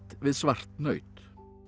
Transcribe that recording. við svart naut